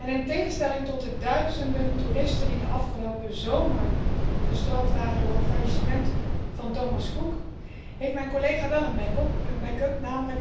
In tegenstelling tot de duizenden toeristen die afgelopen zomer gestrand waren door het faillissement van Thomas Cook, heeft mijn collega wel een back up.